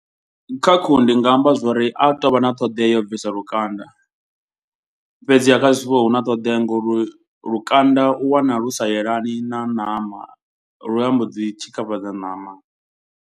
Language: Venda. Kha khuhu ndi nga amba zwori a tou vha na ṱhoḓea ya u bvisa lukanda. Fhedziha kha zwifuwo huna ṱhoḓea ngori lukanda u wana lu sa yelani na ṋama. Lu a mbo dzi tshikafhadza ṋama.